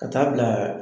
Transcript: Ka taa bila